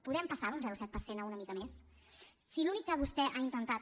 podem passar d’un zero coma set per cent a una mica més si l’únic que vostè ha intentat